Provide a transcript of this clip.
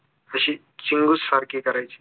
अशी चिंगूस सारखी करायची